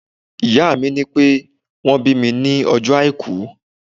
Ìyá mi ní pé wón bí mi ní ọjọ́ Àìkú.